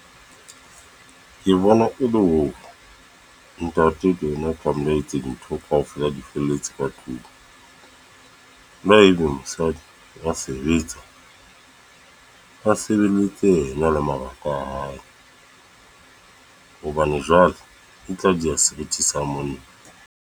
Ke bona e le hore ntate ke yena tlameha etseng dintho kaofela di felletse ka tlung, le ha ebe mosadi a sebetsa, ba sebeletse ena le mabaka a hae. Hobane jwale e tla di seriti sa monna.